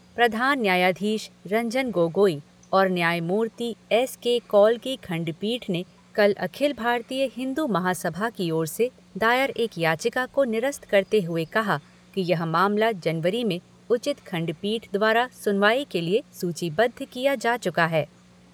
प्रधान न्यायाधीश रंजन गोगोई और न्यायमूर्ति एस के कौल की खंडपीठ ने कल अखिल भारतीय हिन्दू महासभा की ओर से दायर एक याचिका को निरस्त करते हुए कहा कि यह मामला जनवरी में उचित खंडपीठ द्वारा सुनवाई के लिए सूचीबद्ध किया जा चुका है।